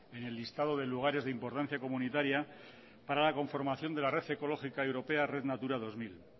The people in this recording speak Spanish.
en el listado de lugares de importancia comunitaria para la conformación de la red ecológica europea red natura dos mil